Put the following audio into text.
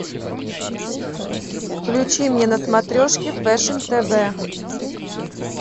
включи мне на смотрешке фэшн тв